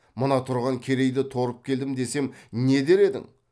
мына тұрған керейді торып келдім десем не дер едің